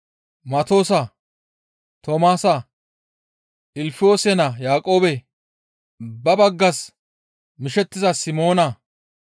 Matoosa, Toomaasa, Ilfiyoosa naa Yaaqoobe, ba baggas mishettiza Simoona,